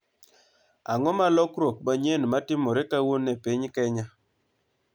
Ang'o malokruok manyien matimore kawuono e piny Kenya